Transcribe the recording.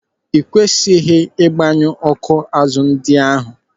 Ị kwesịghị ịgbanyu ọ́kụ́ azụ ndị ahụ.